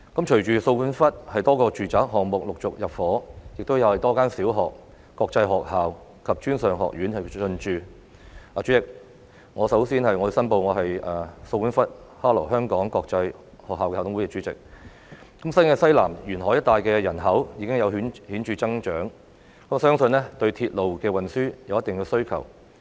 隨着掃管笏多個住宅項目陸續入伙，亦有多間小學、國際學校及專上學院進駐——代理主席，我首先申報我是掃管笏的哈羅香港國際學校校董會主席——新界西南沿海一帶的人口已經有顯著增長，相信對鐵路運輸有一定的需求。